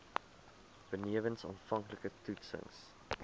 benewens aanvanklike toetsings